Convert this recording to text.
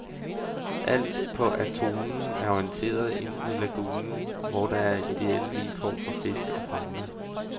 Alt på atollen er orienteret ind mod lagunen, hvor der er ideelle vilkår for fisk og fauna.